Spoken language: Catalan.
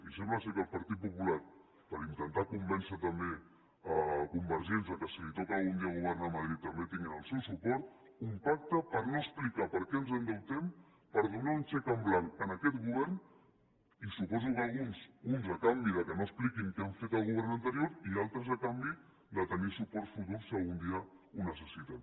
i sembla que el partit popular per intentar convèncer també convergents que si li toca algun dia governar a madrid també tinguin el seu suport un pacte per no explicar per què ens endeutem per donar un xec en blanc a aquest govern i suposo que a uns a canvi que no expliquin què ha fet el govern anterior i d’altres a canvi de tenir suports futurs si algun dia ho necessiten